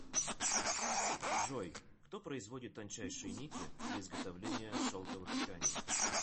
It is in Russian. джой кто производит тончайшие нити для изготовления шелковых тканей